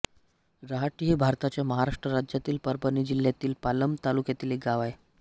रहाटी हे भारताच्या महाराष्ट्र राज्यातील परभणी जिल्ह्यातील पालम तालुक्यातील एक गाव आहे